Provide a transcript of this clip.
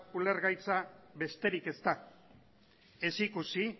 ulergaitza besterik ez da ez ikusi